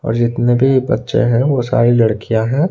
और जितने भी बच्चे हैं वो सारी लड़कियां हैं।